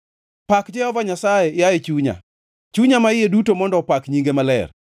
Pak Jehova Nyasaye, yaye chunya; chunya maiye duto mondo opak nyinge maler.